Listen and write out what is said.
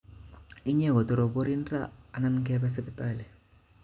Inye kotoroborin ra anan kebe sipitali